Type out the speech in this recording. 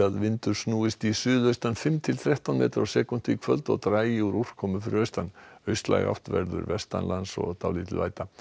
vindur snúist í suðaustan fimm til þrettán metra á sekúndu í kvöld og dragi úr úrkomu fyrir austan austlæg átt verður vestanlands og dálítil væta